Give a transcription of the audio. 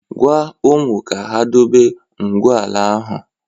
Gwaa ụmụ ka ha dobe ngwu ala ahụ!